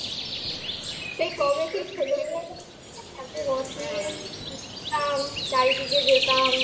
সেই কবে সেই একটা রথ নিয়ে যেতাম চারিদিকে যেতাম